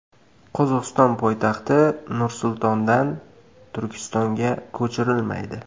Qozog‘iston poytaxti Nur-Sultondan Turkistonga ko‘chirilmaydi.